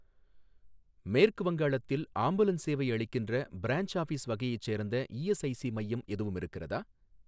மேற்கு வங்காளத்தில் ஆம்புலன்ஸ் சேவை அளிக்கின்ற, பிரான்ச் ஆஃபீஸ் வகையைச் சேர்ந்த இஎஸ்ஐஸி மையம் எதுவும் இருக்கிறதா?